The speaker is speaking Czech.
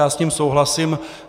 Já s tím souhlasím.